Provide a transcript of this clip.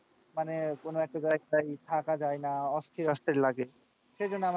মানে কোন একটা জায়গায় থাকা যায়না অস্থির অস্থির লাগে সেইজন্য,